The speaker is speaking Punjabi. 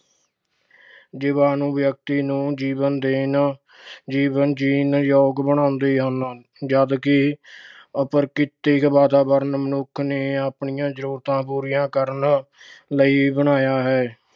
ਜੀਵਾਣੂ ਵਿਅਕਤੀ ਨੂੰ ਜੀਵਨ ਦੇਣ, ਜੀਵਨ ਜੀਉਣ ਯੋਗ ਬਣਾਉਂਦੇ ਹਨ ਜਦਕਿ ਅਪ੍ਰਕ੍ਰਿਤਕ ਵਾਤਾਵਰਣ ਮਨੁੱਖ ਨੇ ਆਪਣੀਆਂ ਜ਼ਰੂਰਤਾਂ ਪੂਰੀਆਂ ਕਰਨ ਲਈ ਬਣਾਇਆ ਹੈ।